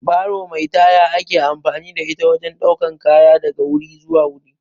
Baro mai taya ake amfani da ita wajen ɗaukar kaya daga wuri zuwa wuri